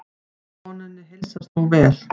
Konunni heilsast nú vel.